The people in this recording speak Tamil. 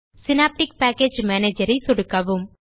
சினாப்டிக் பேக்கேஜ் Managerஐ சொடுக்கவும்